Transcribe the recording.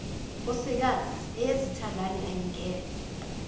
nkosikazi eyezithandani ayingenwa